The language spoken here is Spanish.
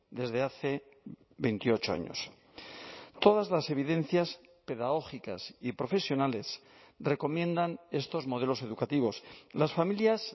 desde hace veintiocho años todas las evidencias pedagógicas y profesionales recomiendan estos modelos educativos las familias